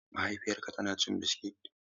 Mahaifiyarka ma tana cin biskit?